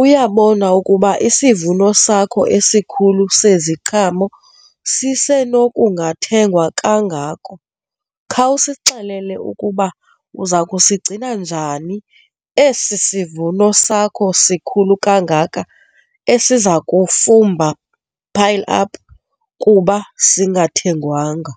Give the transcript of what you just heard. uyabona ukuba isivuno sakho esikhulu seziqhamo sisenokungathengwa kangako, khawusixelele ukuba uza kusigcina njani esi sivuno sakho sikhulu kangaka esiza kufumba, pile up kuba singathengwanga.